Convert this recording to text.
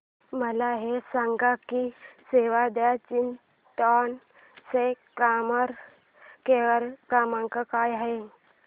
मला हे सांग की सेव्ह द चिल्ड्रेन चा कस्टमर केअर क्रमांक काय आहे